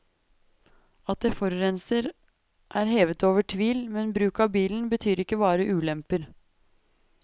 At det forurenser er hevet over tvil, men bruk av bilen betyr ikke bare ulemper.